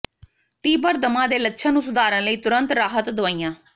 ਤੀਬਰ ਦਮਾ ਦੇ ਲੱਛਣ ਨੂੰ ਸੁਧਾਰਨ ਲਈ ਤੁਰੰਤ ਰਾਹਤ ਦਵਾਈਆਂ